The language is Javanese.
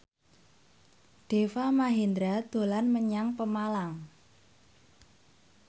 Deva Mahendra dolan menyang Pemalang